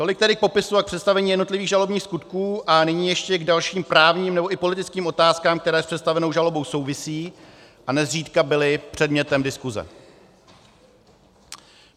Tolik tedy k popisu a představení jednotlivých žalobních skutků a nyní ještě k dalším právním nebo i politickým otázkám, které s představenou žalobou souvisí a nezřídka byly předmětem diskuse.